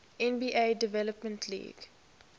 nba development league